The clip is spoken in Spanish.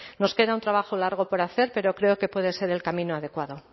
nos queda un trabajo largo por hacer pero creo que puede ser el camino adecuado